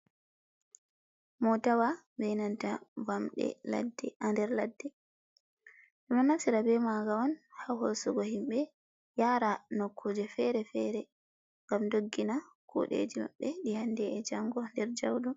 Mootawa, be nanta, Bamɗe ha der ladde ɓe do nafsira be maaga on, ha hoosugo himɓe yara nokkuje fere-fere. gam doggina kuɗeeji maɓɓe dum handee e jango der jauɗum.